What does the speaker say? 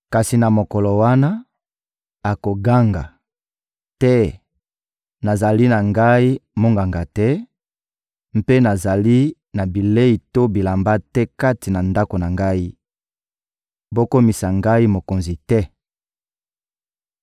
Kasi na mokolo wana, akoganga: «Te, nazali na ngai monganga te, mpe nazali na bilei to bilamba te kati na ndako na ngai; bokomisa ngai mokonzi te!»